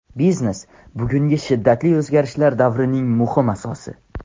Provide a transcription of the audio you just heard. Biznes bugungi shiddatli o‘zgarishlar davrining muhim asosi.